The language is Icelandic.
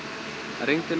rigndi nú